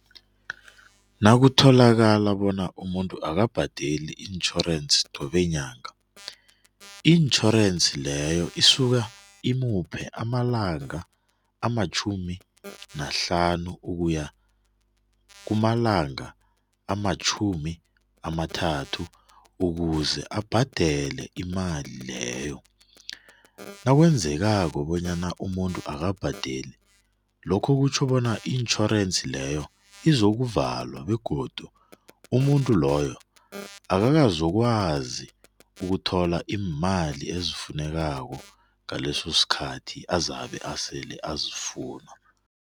Nakutholakale bona umuntu akabhadeli itjhorense qobe nyaka, itjhorense leyo isuka imuphe amalanga amatjhumi nahlanu ukuya kwumalanga amatjhumi amathathu ukuze abhadele imali leyo nakwenzekako bonyana umuntu akabhadeli lokhu kutjho bona itjhorense leyo izolo kuvalwa begodu umuntu loyo akakazokwazi ukuthola iimali efunekako ngaleso sikhathi abazabe asele ezifuna.